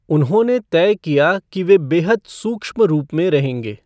उन्होंने तय किया कि वे बेहद सूक्ष्म रूप में रहेंगे।